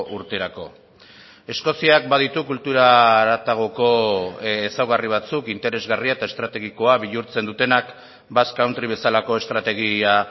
urterako eskoziak baditu kultura haratagoko ezaugarri batzuk interesgarria eta estrategikoa bihurtzen dutenak basque country bezalako estrategia